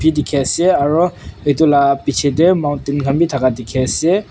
dikhi ase aro etu laga piche teh mountain khan bhi thaka dikhi ase.